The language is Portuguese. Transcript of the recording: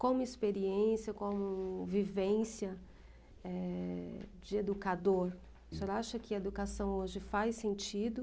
Como experiência, como vivência eh, de educador, o senhor acha que a educação hoje faz sentido?